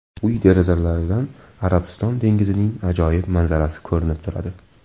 Uy derazalaridan Arabiston dengizining ajoyib manzarasi ko‘rinib turadi.